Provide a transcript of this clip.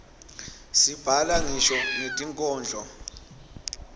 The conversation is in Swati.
sibhala ngisho netinkhondlo